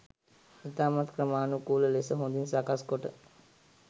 ඉතාමත් ක්‍රමාණුකූල ලෙස හොඳින් සකස් කොට